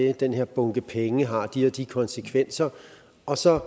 og den her bunke penge har de og de konsekvenser og så